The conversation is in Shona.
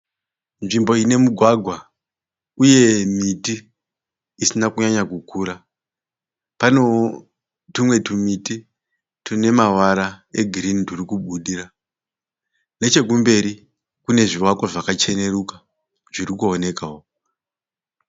Nzvimbo ine mugwagwa uye miti isina kunyanya kukura. Panewo tumwe tumiti tune mavara egirini turi kubudira. Nechekumberi kune zvevakwa zvakacheneruka zviri kuonekawo.